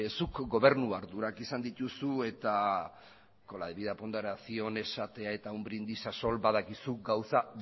zuk gobernu ardurak izan dituzu eta con la debida ponderación esateak eta un brindis al sol badakizu gauza